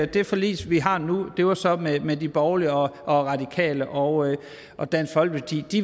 det forlig vi har nu det var så med med de borgerlige og radikale og og dansk folkeparti